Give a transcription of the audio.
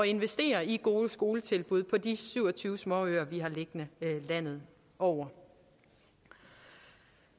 investere i gode skoletilbud på de syv og tyve småøer vi har liggende landet over